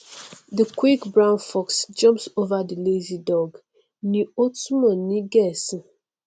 the quick brown fox jumps over the lazy dog ni ó túmọ sí ní gẹẹsì